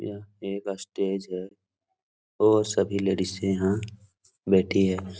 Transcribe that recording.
यहाँ एक स्टेज है और सभी लेडिजे यहाँ बैठी है।